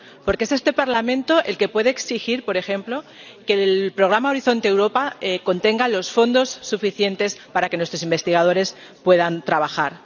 Porque es este Parlamento el que puede exigir, por ejemplo, que el programa Horizonte Europa contenga los fondos suficientes para que nuestros investigadores puedan trabajar.